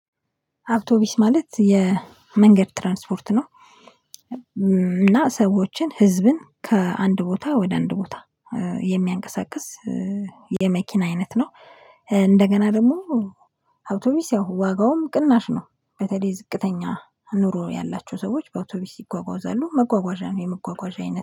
አዉቶቢስ ማለት የመንገድ ትራንስፖርት ነው። እና ሰዎችን ህዝብን ከአንድ ቦታ ወደ አንድ ቦታ የሚያንቀሳቅስ የመኪና አይነት ነው። እንደገና ደግሞ አውቶቢስ ያው ዋጋዉም ቅናሽ ነው። በተለይ ዝቅተኛ ኑሮ ያላቸው ሰዎች በአውቶቢስ ይጓጓዛሉ መጓጓዣ እና የመጓጓዣ አይነት